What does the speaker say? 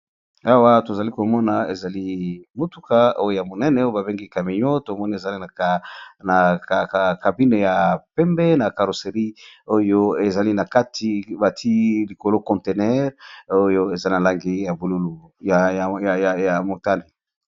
Awa tozali komona ezali mutuka Moko ya munene Oyo bambengi camion na caroserie